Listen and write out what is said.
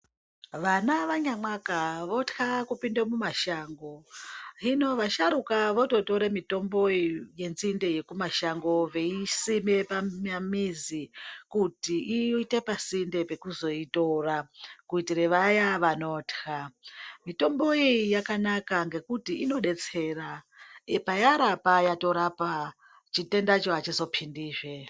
Vana vanyamwaka vothya kupinde mumashango. Hino vasharuka vototore mitomboyo yenzinde yekumashango veisime pamamizi kuti iite pasinde pekuzoitora, kuitire vaya vanothya. Mitomboyi yakanaka, ngekuti inodetsera .Payarapa yatorapa, chitendacho achizophindizve.